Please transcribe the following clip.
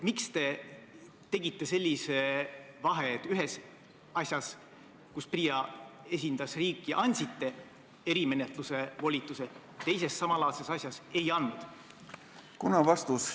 Miks te tegite sellise vahe, et ühes asjas, kus PRIA esindas riiki, andsite erimenetluse volituse, aga teises samalaadses asjas ei andnud?